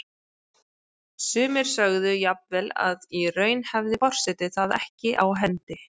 Sumir sögðu jafnvel að í raun hefði forseti það ekki á hendi.